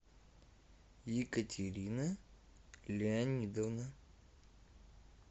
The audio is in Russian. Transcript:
екатерина леонидовна